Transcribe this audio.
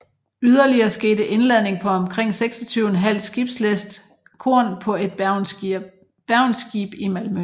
Yderligere skete indladning på omkring 26½ skibslæst korn på et Bergenskib i Malmø